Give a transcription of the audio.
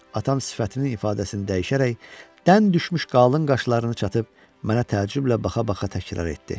Atam sifətinin ifadəsini dəyişərək, dən düşmüş qalın qaşlarını çatıb mənə təəccüblə baxa-baxa təkrar etdi.